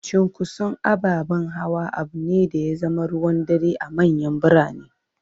Cunkoson ababen hawa abu ne da ya zama ruwan dare a manyan birane.